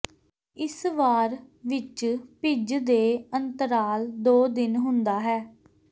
ਇਸ ਵਾਰ ਵਿੱਚ ਭਿੱਜ ਦੇ ਅੰਤਰਾਲ ਦੋ ਦਿਨ ਹੁੰਦਾ ਹੈ